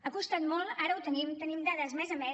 ha costat molt ara ho tenim tenim dades mes a mes